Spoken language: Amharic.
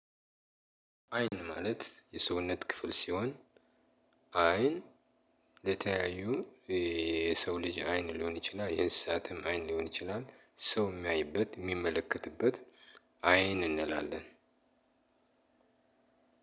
አይን ማለት የሰውነት ክፍል ሲሆን- አይን ለተያዩ የሰው ልጅ አይን ሊሆን ይችላል። የእንስሳትም አይን ሊሆን ይችላል። ሰው የሚያይበት የሚመለከትበት አይን እንላለን።